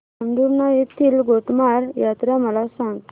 पांढुर्णा येथील गोटमार यात्रा मला सांग